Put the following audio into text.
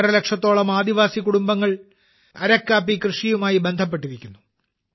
ഒന്നരലക്ഷത്തോളം ആദിവാസി കുടുംബങ്ങൾ അരക്കു കാപ്പി കൃഷിയുമായി ബന്ധപ്പെട്ടിരിക്കുന്നു